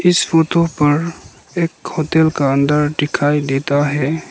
इस फोटो पर एक होटल का अंदर दिखाई देता है।